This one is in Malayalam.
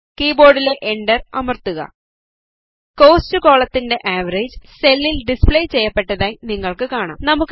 കീബോർഡിലെ Enter അമർത്തുക കോസ്റ്റ് കോളത്തിൻറെ ആവറേജ് സെല്ലിൽ ഡിസ്പ്ലേ ചെയ്യപ്പെട്ടതായി നിങ്ങൾക്ക് കാണാം